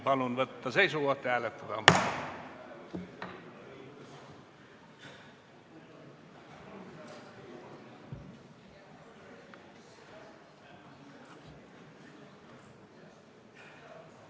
Palun võtta seisukoht ja hääletada!